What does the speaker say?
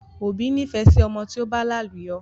Òbí nifẹ sí ọmọ tí ó bá làlùyọ